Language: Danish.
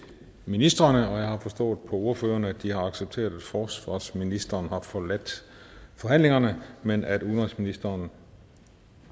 ministrene og jeg har forstået på ordførerne at de har accepteret at forsvarsministeren har forladt forhandlingerne men at udenrigsministeren